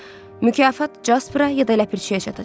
Mükafat Casperə ya da ləpirçiyə çatacaq.